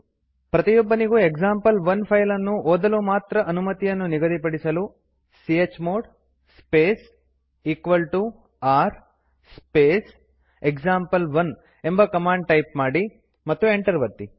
ಪ್ರತಿಯೊಬ್ಬನಿಗೂ example one file ಅನ್ನು ಓದಲು ಮಾತ್ರ ಅನುಮತಿಯನ್ನು ನಿಗದಿಪಡಿಸಲು chmod space r space example one ಎಂಬ ಕಮಾಂಡ್ ಟೈಪ್ ಮಾಡಿ ಮತ್ತು ಎಂಟರ್ ಒತ್ತಿ